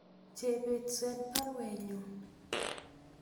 Chebet swen baruenyun